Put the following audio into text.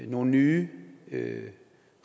nogle nye